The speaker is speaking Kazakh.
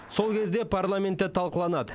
сол кезде парламентте талқыланады